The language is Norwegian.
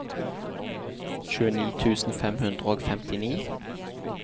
tjueni tusen fem hundre og femtini